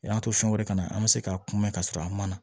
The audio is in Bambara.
O y'an to fɛn wɛrɛ kanna an bɛ se k'a kuma ka sɔrɔ a man na